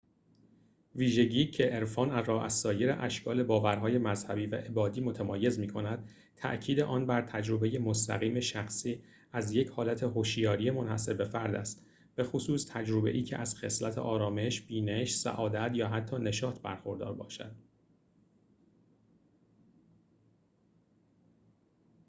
ویژگی که عرفان را از سایر اشکال باورهای مذهبی و عبادی متمایز می‌کند تأکید آن بر تجربه مستقیم شخصی از یک حالت هشیاری منحصربه‌فرد است بخصوص تجربه‌ای که از خصلت آرامش بینش سعادت یا حتی نشاط برخوردار باشد